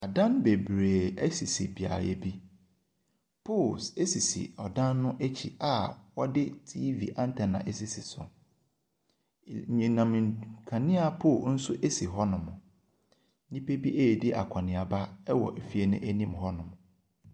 Adan bebree sisi beaeɛ bi. Pole sisi dan no akyi a wɔde TV anttena asisi so. I enyinam nd kanea pole nso si hɔnom. Nnipa bi redi akɔneaba wɔ efie no anim hɔnom.